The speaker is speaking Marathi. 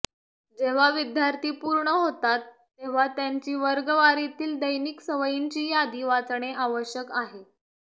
जेव्हा विद्यार्थी पूर्ण होतात तेव्हा त्यांची वर्गवारीतील दैनिक सवयींची यादी वाचणे आवश्यक आहे